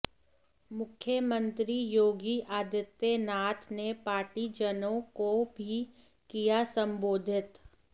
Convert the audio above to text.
मुख्यमंत्री योगी आदित्यनाथ ने पार्टीजनों को भी किया सम्बोधित